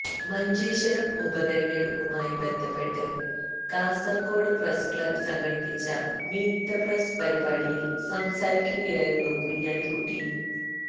മഞ്ചേശ്വരം ഉപതിരഞ്ഞെടുപ്പുമായി ബന്ധപ്പെട്ട് Kasaragod press club സംഘടിപ്പിച്ച മീറ്റ് ദ പ്രസ് പരിപാടിയിൽ സംസാരിക്കുകയായിരുന്നു കുഞ്ഞാലിക്കുട്ടി